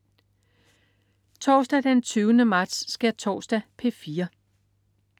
Torsdag den 20. marts. Skærtorsdag - P4: